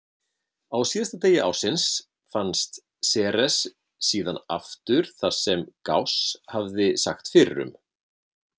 Á síðasta degi ársins fannst Ceres síðan aftur þar sem Gauss hafði sagt fyrir um.